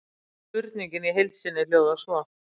Spurningin í heild sinni hljóðar svo: